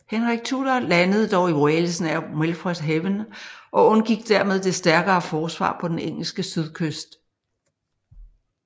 Henrik Tudor landede dog i Wales nær Milford Haven og undgik dermed det stærkere forsvar på den engelske sydkyst